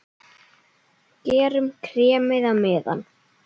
Gerum kremið á meðan!